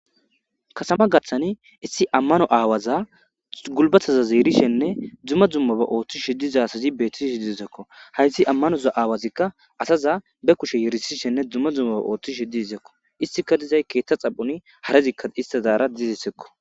katama gaththani issi ammano aawaza gulbataza yerisishenne dumma dummaba ooththishe diza asazi beettishe dizaysako, hayssi ammanoza aawazikka asaza be kushe yerisishenne dumma dzlummoba ooththishe dizekko izika dizay keethta xaphoni harezikka istazaara dizisekko